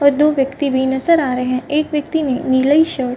और दो व्यक्ति भी नजर आ रहे हैं एक व्यक्ति नीलेश --